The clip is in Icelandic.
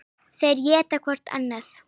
Þeir éta hvorn annan.